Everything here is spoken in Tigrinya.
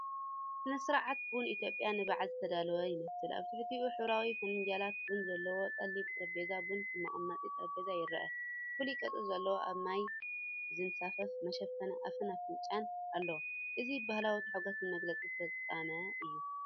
ስነ-ስርዓት ቡን ኢትዮጵያ ንበዓል ዝተዳለወ ይመስል። ኣብ ትሕቲኡ ሕብራዊ ፊንጃላት ቡን ዘለዎ ጸሊም ጠረጴዛ ቡን ከም መቐመጢ ጠረጴዛ ይረአ። ፍሉይ ቅርጺ ዘለዎም ኣብ ማይ ዝንሳፈፍ መሸፈኒ ኣፍን ኣፍንጫን ኣሎ። እዚ ባህላዊን ታሕጓስን መግለፂ ፍጻመ እዩ።